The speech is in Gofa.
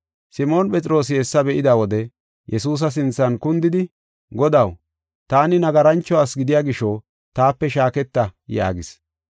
Simoon Phexroosi hessa be7ida wode, Yesuusa sinthan kundidi, “Godaw, taani nagarancho asi gidiya gisho, taape shaaketa” yaagis.